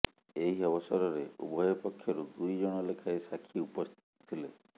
ଏହି ଅବସରରେ ଉଭୟ ପକ୍ଷରୁ ଦୁଇଜଣ ଲେଖାଏଁ ସାକ୍ଷୀ ଉପସ୍ଥିତ ଥିଲେ